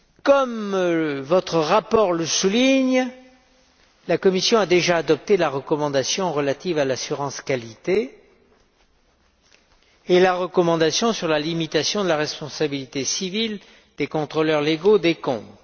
Comme votre rapport le souligne, la Commission a déjà adopté la recommandation relative à l'assurance qualité et la recommandation sur la limitation de la responsabilité civile des contrôleurs légaux des comptes.